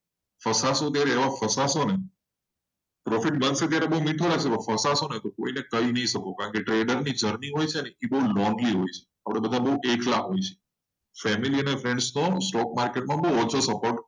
પાસા છો ત્યારે એવા ફસાશો પ્રોફિટ બહુ મીઠો લાગશે. પણ કોઈને કહી નહિ શકો કારણ કે trading ય બહુ લોંગ હોય એકલા હોય છે. family અને friends નું stokemarket માં બહુ ઓછો.